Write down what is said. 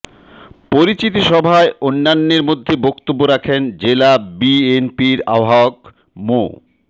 পরিচিতি সভায় অন্যান্যের মধ্যে বক্তব্য রাখেন জেলা বিএনপির আহবায়ক মো